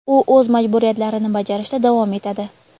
u o‘z majburiyatlarini bajarishda davom etadi.